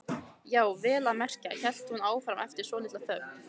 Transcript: Já, vel að merkja, hélt hún áfram eftir svolitla þögn.